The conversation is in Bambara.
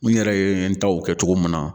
N yɛrɛ ye n taw kɛ cogo min na